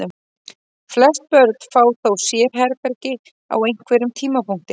Flest börn fá þó sérherbergi á einhverjum tímapunkti.